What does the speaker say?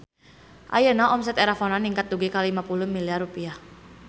Ayeuna omset Erafone ningkat dugi ka 50 miliar rupiah